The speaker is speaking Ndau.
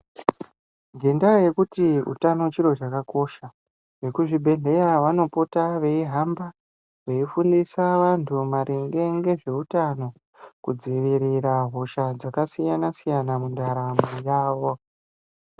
Ngendaa yekuti utano chiro chakakosha vekuzvibhedhleya vanopota veihamba veifundisa vantu maringe ngezveutano kudzivirira hosha dzakasiyana siyana mundaramo yavo.